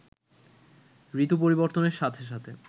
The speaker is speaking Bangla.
ঋতু পরিবর্তনের সাথে সাথে